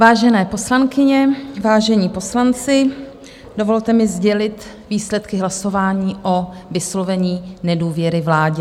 Vážené poslankyně, vážení poslanci, dovolte mi sdělit výsledky hlasování o vyslovení nedůvěry vládě.